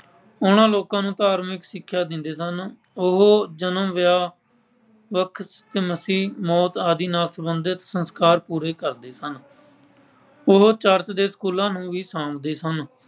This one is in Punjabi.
ਉਨ੍ਹਾਂ ਲੋਕਾਂ ਨੂੰ ਧਾਰਮਿਕ ਸਿੱਖਿਆ ਦਿੰਦੇ ਸਨ। ਉਹ ਜਨਮ, ਵਿਆਹ, , ਮੌਤ ਆਦਿ ਨਾਲ ਸਬੰਧਿਤ ਸੰਸਕਾਰ ਪੂਰੇ ਕਰਦੇ ਸਨ। ਉਹ ਚਰਚ ਦੇ ਸਕੂਲਾਂ ਨੂੰ ਵੀ ਸਾਂਭਦੇ ਸਨ।